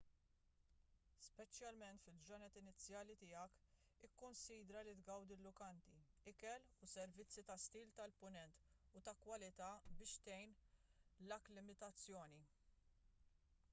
speċjalment fil-ġranet inizjali tiegħek ikkunsidra li tgawdi l-lukandi ikel u servizzi ta' stil tal-punent u ta' kwalità biex tgħin l-akklimatizzazzjoni